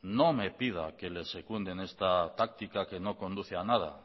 no me pida que les secunde esta táctica que no conduce a nada